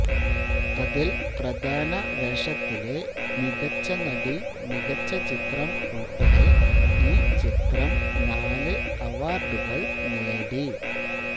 അതിൽ പ്രധാന വേഷത്തിലെ മികച്ച നടി മികച്ച ചിത്രം ഉൾപ്പെടെ ഈ ചിത്രം നാല് അവാർഡുകൾ നേടി